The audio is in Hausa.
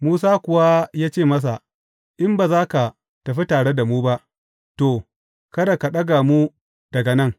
Musa kuwa ya ce masa, In ba za tă tafi tare da mu ba, to, kada ka ɗaga mu daga nan.